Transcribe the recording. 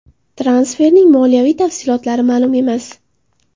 Transferning moliyaviy tafsilotlari ma’lum emas.